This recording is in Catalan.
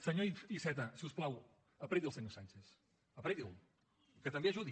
senyor iceta si us plau apreti el senyor sánchez apreti’l que també ajudi